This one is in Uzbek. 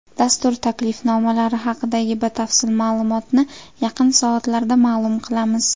Dastur taklifnomalari haqidagi batafsil ma’lumotni yaqin soatlarda ma’lum qilamiz.